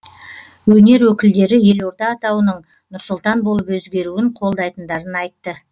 өнер өкілдері елорда атауының нұр сұлтан болып өзгеруін қолдайтындарын айтты